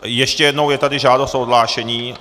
Ještě jednou je tady žádost o odhlášení.